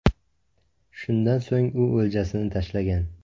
Shundan so‘ng u o‘ljasini tashlagan.